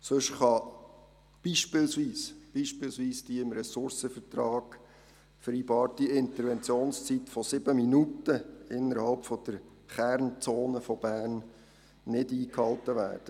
Sonst kann beispielsweise die im Ressourcenvertrag vereinbarte Interventionszeit von 7 Minuten innerhalb der Kernzone von Bern nicht eingehalten werden.